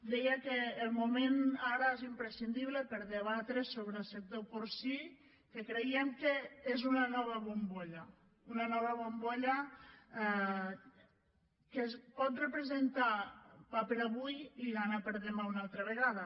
deia que el moment ara és imprescindible per a debatre sobre el sector porcí que creiem que és una nova bombolla una nova bombolla que pot representar pa per a avui i gana per a demà una altra vegada